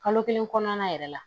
Kalo kelen kɔnɔna yɛrɛ la